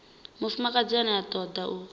mufumakadzi ane a toda u